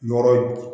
Yɔrɔ